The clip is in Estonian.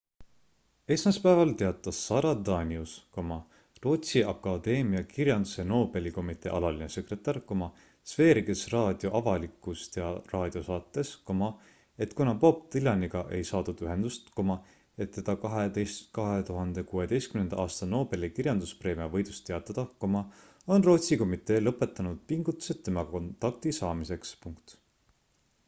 esmaspäeval teatas sara danius rootsi akadeemia kirjanduse nobeli komitee alaline sekretär sveriges radio avalikus raadiosaates et kuna bob dylaniga ei saadud ühendust et teda 2016 aasta nobeli kirjanduspreemia võidust teatada on rootsi komitee lõpetanud pingutused temaga kontakti saamiseks